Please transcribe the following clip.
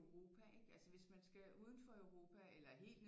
Europa ikke altså hvis man skal udenfor Europa eller helt